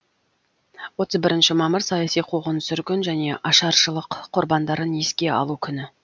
отыз бірінші мамыр саяси қуғын сүргін және ашаршылық құрбандарын еске алу күні